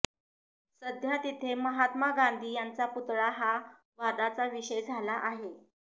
सध्या तिथे महात्मा गांधी यांचा पुतळा हा वादाचा विषय झाला आहे